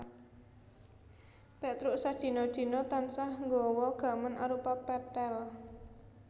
Pétruk sadina dina tansah nggawa gaman arupa pethèl